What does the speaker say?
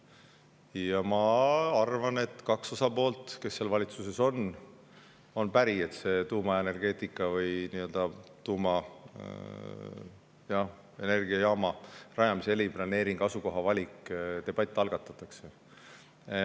Ja ma arvan, et kaks osapoolt, kes on valitsuses, on päri, et tuumaenergeetika või tuumaenergiajaama rajamise eriplaneeringu ja asukoha valiku üle debatt algatatakse.